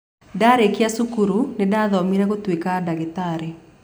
Ndarĩkia cukuru nĩ ndaathomire gũtuĩka ndagĩtarĩ.